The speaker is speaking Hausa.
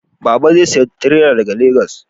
Baba zai saya tirela daga Legas